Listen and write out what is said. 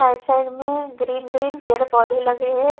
Side से green green पेड़ पौधे लगे हैं।